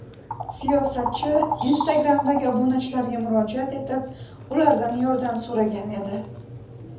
Siyosatchi Instagram’dagi obunachilariga murojaat etib, ulardan yordam so‘ragan edi .